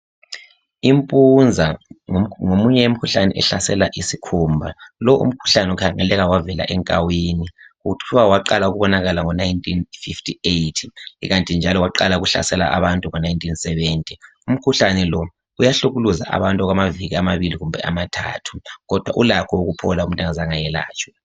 Impunza ngomunye yemikhuhlane ehlasela isikhumba. Lowu umkhuhlane kukhanya wavela enkawini. Kuthwa waqala ukubonakala ngo1958 ikanti njalo waqala ukuhlasela abantu ngo1970.Umkhuhlane lo uyahlukuluza abantu okwamaviki amabili kumbe amathathu kodwa ulakho ukuphola umuntu engazange ayelatshwe.